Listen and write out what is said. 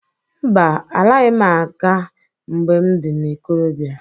Mba! Alaghị m nga mgbe m dị n'ikorobịa.